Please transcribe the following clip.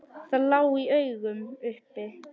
Það lá í augum uppi.